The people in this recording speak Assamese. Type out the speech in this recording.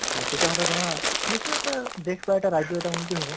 হয় তেতিয়াহʼলে ধৰা এটা দেশ বা এটা ৰাজ্য় এটা উন্নতি হʼব